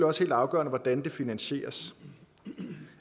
også helt afgørende hvordan det finansieres